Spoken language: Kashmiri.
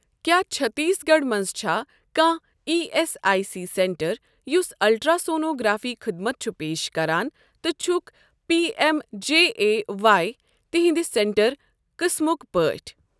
کیٛاہ چٔھتیٖس گَڑھ مَنٛز چھا کانٛہہ E S I C centre یُس الٹرٛاسونوگرافی خدمت چھُ پیش کران تہٕ چھُکھ P M J A Y تِہنٛدِ سینٹر قٕسمٕک پٲٹھۍ؟